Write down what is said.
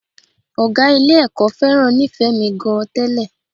Ọ̀gá Ilé-ẹ̀kọ́ fẹ́ràn Nífẹ̀ẹ́mi gan-an tẹ́lẹ̀